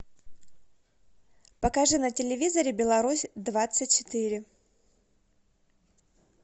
покажи на телевизоре беларусь двадцать четыре